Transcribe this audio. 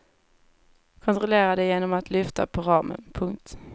Kontrollera det genom att lyfta på ramen. punkt